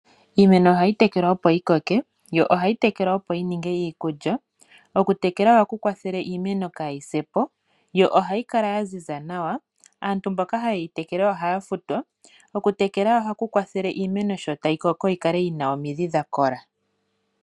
Iimeno ohayi tekelwa opo yi koke, yo ohayi tekelwa opo yi ninge iikulya. Okutekela ohaku kwathele iimeno kaayi se po, yo ohayi kala ya ziza nawa. Aantu mboka haye yi tekele ohaya futwa. Okutekela ohaku kwathele iimeno sho tayi koko yi kale yi na omidhi dha kola.